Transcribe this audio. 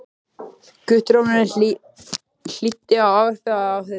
Guttormur hlýddi á ávarpið af athygli.